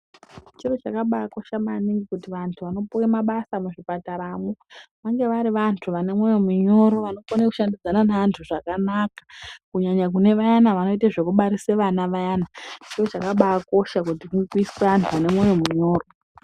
Chiro chakabakosha maningi kuti vantu vanopuwe mabasa muzvipataramwo ,vange vari vantu vane mwoyo minyoro vanokone kushandidzana neantu zvakanaka, kunyanya kune vayana vanoite zvekubarise vana vayana. Chiro chakabakosha kuti kuiswe anhu ane mwoyo munyoro .